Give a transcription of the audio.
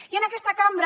i en aquesta cambra